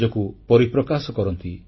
ନିଜକୁ ପରିପ୍ରକାଶ କରନ୍ତି